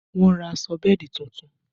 Wọn ra aṣọ bẹ́ẹ̀dì tuntun